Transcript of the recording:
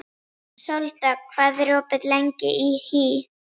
Sóldögg, hvað er opið lengi í HÍ?